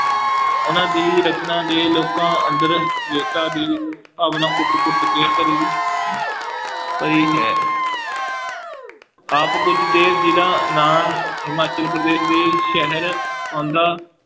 ਉਹਨਾਂ ਦੀ ਰਚਨਾ ਦੇ ਲੋਕਾਂ ਅੰਦਰ ਵੀਰਤਾ ਦੀ ਭਾਵਨਾ ਕੁੱਟ ਕੁੱਟ ਕੇ ਭਰੀ ਭਰੀ ਹੈ ਆਪ ਕੁੱਝ ਦੇ ਜਿੰਨਾਂ ਨਾਲ ਹਿਮਾਚਲ ਪ੍ਰਦੇਸ਼ ਦੇ ਸ਼ਹਿਰ ਆਉਂਦਾ